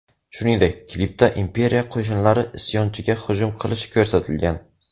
Shuningdek, klipda Imperiya qo‘shinlari isyonchiga hujum qilishi ko‘rsatilgan.